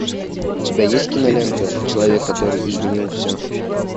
у тебя есть кинолента человек который изменил все